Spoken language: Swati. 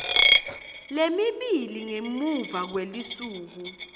lemibili ngemuva kwelusuku